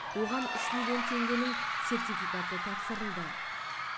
оған үш миллион теңгенің сертификаты тапсырылды